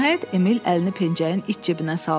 Nəhayət Emil əlini pencəyin iç cibinə saldı.